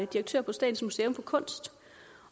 direktør på statens museum for kunst